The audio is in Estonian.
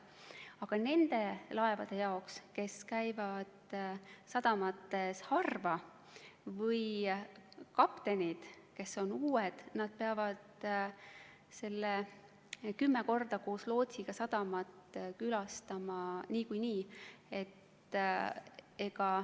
Aga nende laevade kaptenid, kes käivad sadamates harva, või on uued inimesed, peavad need kümme korda koos lootsiga sadamat külastama niikuinii.